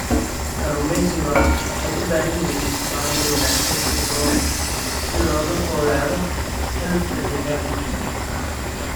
Kalluumaysigu waxay u baahan yihiin maamul wanaagsan si looga fogaado xaalufka deegaanka.